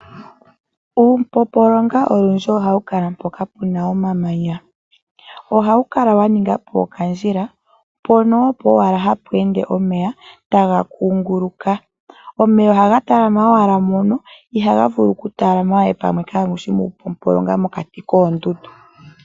Uupompolonga olundji ohawu kala mpoka pu na omamanya. Ohawu kala wa ninga po okandjila, mpono opo owala hapu ende omeya taga kunguluka. Omeya ohaga talama owala mono ihaga vulu okutalama we palwe kaapu shi muupompolonga kaamu shi mokati koondundu.